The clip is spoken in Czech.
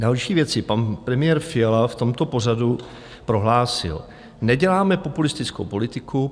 Další věci: pan premiér Fiala v tomto pořadu prohlásil: "Neděláme populistickou politiku.